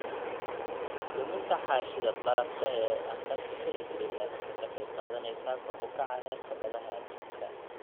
Luminta xaashida barafka ee Antarctica iyo Greenland waxay ka qayb qaadanaysaa kor u kaca heerka badaha adduunka.